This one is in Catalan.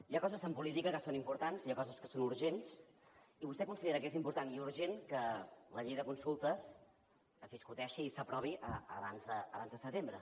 hi ha coses en política que són importants hi ha coses que són urgents i vostè considera que és important i urgent que la llei de consultes es discuteixi i s’aprovi abans de setembre